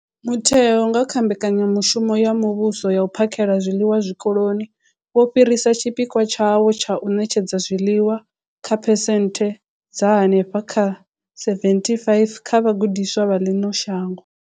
Mutheo, nga kha mbekanyamushumo ya muvhuso ya u phakhela zwiḽiwa zwikoloni, wo fhirisa tshipikwa tshawo tsha u ṋetshedza zwiḽiwa kha phesenthe dza henefha kha 75 dza vhagudiswa vha ḽino shango.